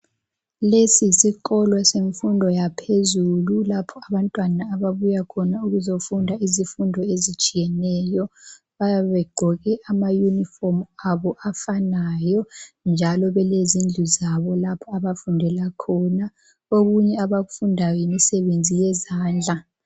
Lesi yisikolo semfundo yaphezulu lapho abantwana ababuya khona ukuzofunda izifundo ezitshiyeneyo. Bayabe begqoke ama Yunifomu abo afanayo njalo belezindlu zabo lapho abafundela khona, okunye abakufundayo yimisebenzi yezandla.